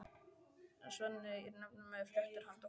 Svenni er nefnilega með fréttir handa honum.